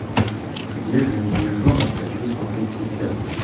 где же медвежонок хочу смотреть сейчас